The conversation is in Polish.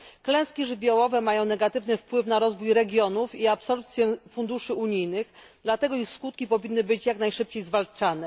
Klęski żywiołowe mają negatywny wpływ na rozwój regionów i absorpcję funduszy unijnych, dlatego ich skutki powinny być jak najszybciej zwalczane.